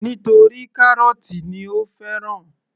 Nítorí kárọ́tì ni ó fẹ́ràn